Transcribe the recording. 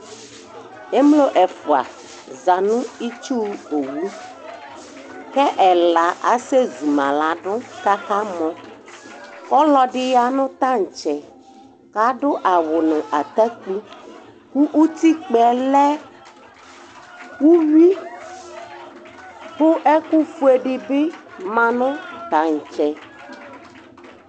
emlo ɛfua za no itsu owu k'ɛla asɛ zuma lado k'aka mɔ ɔloɛdi ya no tantsɛ ko ado awu no atakpi ko utakpaɛ lɛ uwi ko ɛkofue di bi ma no tantsɛ